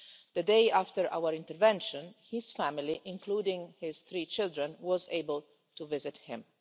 The day after our intervention his family, including his three children, was able to visit him.